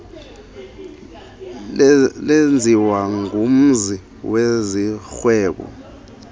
lenziwa ngumzi wezorhwebo